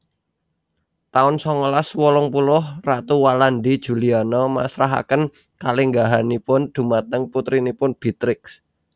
taun songolas wolung puluh Ratu Walandi Juliana masrahaken kalenggahanipun dhumateng putrinipun Beatrix